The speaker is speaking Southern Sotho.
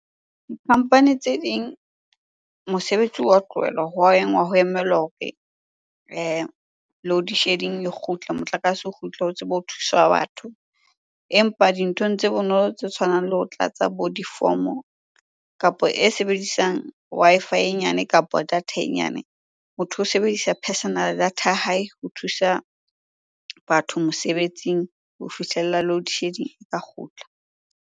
Company tse ding, mosebetsi wa tlohelwa, ho wa enngwa ho emelwa hore loadshedding e kgutle, motlakase o kgutla ho tsebe ho thuswa batho. Empa dinthong tse bonolo tse tshwanang le ho tlatsa bo difomo, kapo e sebedisang Wi-Fi e nyane, kapo data e nyane. Motho o sebedisa personal data ya hae ho thusa batho mosebetsing ho fihlella loadshedding e ka kgutla.